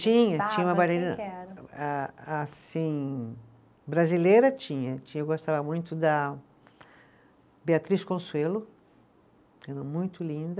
Tinha, tinha uma bailarina a assim brasileira, tinha, tinha, eu gostava muito da Beatriz Consuelo, era muito linda,